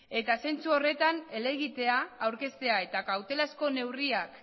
eta zentzu horretan helegitea aurkeztea eta kautelazko neurriak